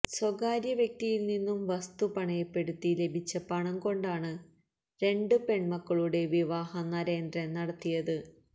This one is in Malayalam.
സ്വകാര്യ വ്യക്തിയിൽ നിന്നും വസ്തു പണയപ്പെട്ടുത്തി ലഭിച്ച പണം കൊണ്ടാണ് രണ്ട് പെൺമക്കളുടെ വിവാഹം നരേന്ദ്രൻ നടത്തിയത്